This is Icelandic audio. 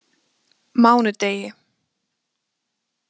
mánudegi